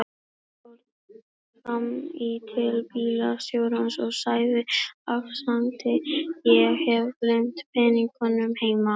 Hann fór fram í til bílstjórans og sagði afsakandi: Ég hef gleymt peningunum heima.